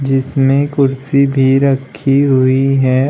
इसमें कुर्सी भी रखी हुई है।